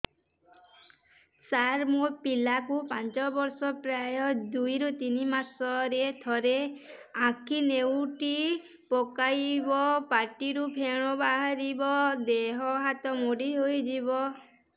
ସାର ମୋ ପିଲା କୁ ପାଞ୍ଚ ବର୍ଷ ପ୍ରାୟ ଦୁଇରୁ ତିନି ମାସ ରେ ଥରେ ଆଖି ନେଉଟି ପକାଇବ ପାଟିରୁ ଫେଣ ବାହାରିବ ଦେହ ହାତ ମୋଡି ନେଇଯିବ